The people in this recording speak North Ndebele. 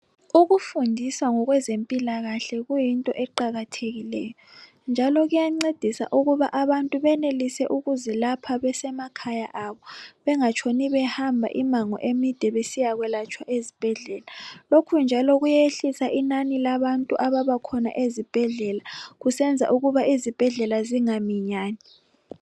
Ukufundiswa ngokwezempilakahle kuyinto eqakathekileyo njalo kuyancedisa ukuba abantu benelise ukuzilapha besemakhaya abo bengatshoni behamba imango emide besiyakwelatshwa ezibhedlela lokhu njalo kuyehlisa inani labantu ababakhona ezibhedlela kusenza ukuba izibhedlela zingaminyani.